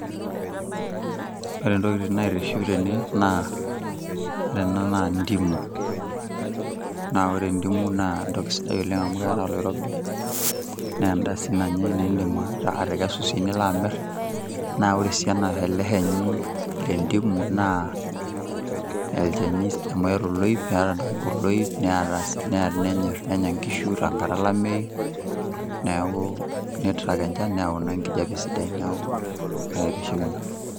Ore tokitin naitiship tene naa ore ena naa ndimu naa ore ndimu[cd] na sidai amu ear oloirobi, naa edaa si nanyae amu idim atekesu nilo si aamir, na ore si ele shani le ndimu ochani amu eata oloip neata si nenya si nkishu enkata olameyu, neaku neyau si enchan neyau si ekijape sidai neaku kaitiship ina.